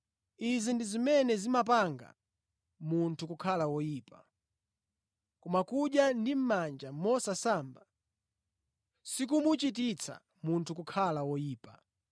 Izi ndi zimene zimachititsa munthu kukhala woyipa; koma kudya ndi mʼmanja mosasamba sikumuchititsa munthu kukhala woyipa.”